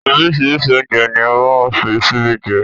Oríṣiríṣi oúnjẹ ní a máa ń fi síbi jẹ